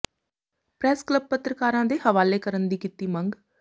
press club ਪੱਤਰਕਾਰਾਂ ਦੇ ਹਵਾਲੇ ਕਰਨ ਦੀ ਕੀਤੀ ਮੰਗ